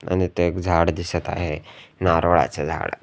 आणि इथं एक झाड दिसत आहे नारळाचं झाड.